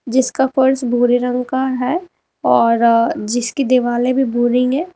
जिसका फर्श भूरे रंग का है और जिसकी दिवाले भी भूरी हैं।